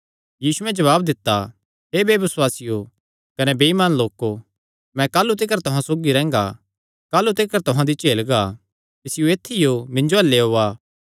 यीशुयैं जवाब दित्ता हे बेबसुआसियो कने बेइमान लोको मैं काह़लू तिकर तुहां सौगी रैंह्गा काह़लू तिकर तुहां दी झेलगा इसियो ऐत्थियो मिन्जो अल्ल लेयोआ